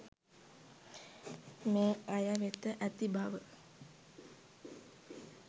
මේ අය වෙත ඇති බව